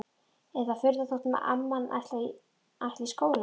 Er það furða þótt amman ætli í skóla?